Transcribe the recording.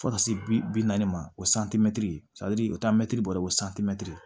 Fo ka se bi naani ma o santimɛtiri o t'a mɛtiri bɔrɛ ko santimɛtiri